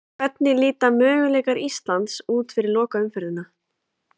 Hvernig líta möguleikar Íslands út fyrir lokaumferðina?